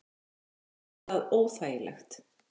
Henni fannst það óþægilegt.